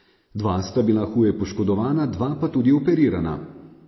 Dva sta bila huje poškodovana, dva pa tudi operirana.